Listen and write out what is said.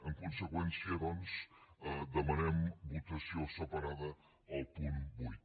en conseqüència doncs demanem votació separada al punt vuit